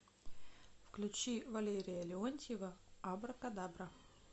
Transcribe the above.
включи валерия леонтьева абракадабра